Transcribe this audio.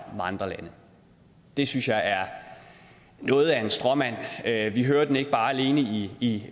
med andre lande det synes jeg er noget af en stråmand vi hører den ikke alene i